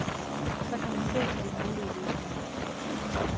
Så kan man se på de mulige løsninger.